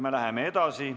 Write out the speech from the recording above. Me läheme edasi.